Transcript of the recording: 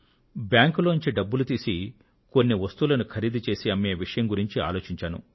బ్యాంకులో నుండి డబ్బులు తీసి కొన్ని వస్తువులను ఖరీదు చేసి అమ్మే విషయం గురించి ఆలోచించారు